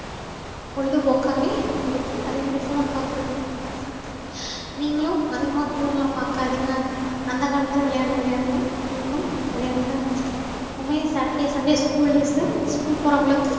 பொழுதுபோக்கவே இருக்கு அதேமாறி phone பாக்குறது நீங்கலாம் அதிகமா phone ல பாக்காதிங்க அந்த காலத்துல விளையாண்ட விளையாட்டுலா நீங்களும் விளையாடுங்க எப்போமே saturday sundays school days ல school போறவங்களுக்கு